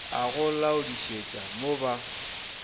a go laodišetša mo ba